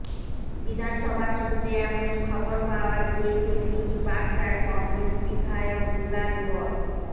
বিধানসভা সূত্রে এমনই খবর পাওয়া গিয়েছে তিনি বাগদার কংগ্রেস বিধায়ক দুলাল বর